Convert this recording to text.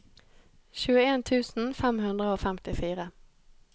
tjueen tusen fem hundre og femtifire